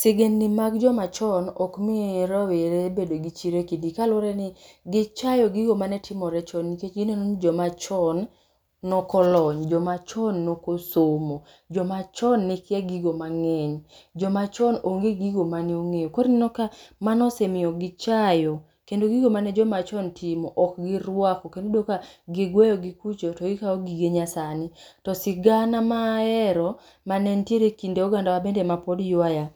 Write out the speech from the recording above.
Sigendni mag joma chon okmi rawere bedo gi chir e kidi, kaluwore ni gichayo gigo manetimore chon. Nikech gineno ni jomachon nokolony, jomachon nokosomo, jomachon nekia gigo mang'eny, jomachon onge gigo maneong'eyo. Korineneo ka mano osemiyo gichayo kendo gigo mane jomachon timo ok girwako. Kendo ibroyudoka gigweyo gi kucho to gikao gige nyasani. To sigana ma ahero mane ntiere e kind ogandawa bende mapod ywaya,